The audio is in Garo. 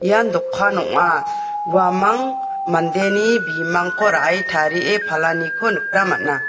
ian dokan ong·a uamang mandeni bimangko ra·e tarie palaniko nikna man·a.